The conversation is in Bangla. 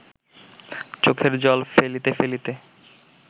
চোখের জল ফেলিতে ফেলিতে